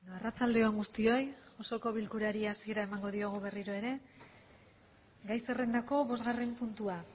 arratsalde on guztioi osoko bilkurari hasiera emango diogu berriro ere gai zerrendako bosgarren puntua